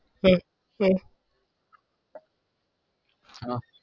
હા